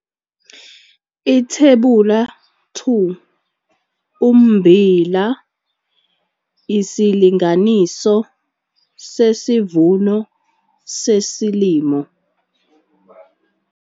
Ithebula 2- Ummbila - isilinganiso sesivuno sesilimo.